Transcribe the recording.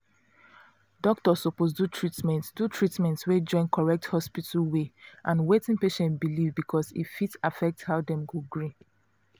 doctor suppose do treatment do treatment wey join correct hospital way and wetin patient believe because e fit affect how dem go gree